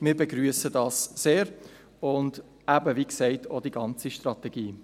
Wir begrüssen dies sehr und – wie erwähnt – auch die ganze Strategie.